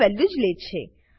value જ લે છે